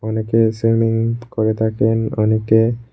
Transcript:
অনেকে সুইমিং করে থাকেন অনেকে।